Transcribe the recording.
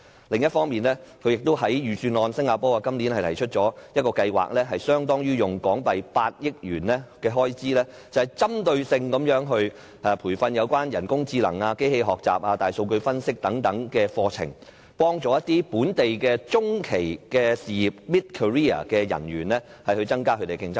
另一方面，新加坡在今年的預算案提出一項計劃，投放相當於8億港元的開支，針對性提供有關人工智能、機器學習、大數據分析等課程培訓，幫助當地中期事業的從業員增加競爭力。